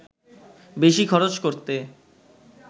বেশি খরচ করতে